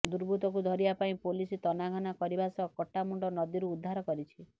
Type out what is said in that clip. ଦୁର୍ବୃତ୍ତକୁ ଧରିବା ପାଇଁ ପୋଲିସ ତନାଘନା କରିବା ସହ କଟା ମୁଣ୍ଡ ନଦୀରୁ ଉଦ୍ଧାର କରିଛି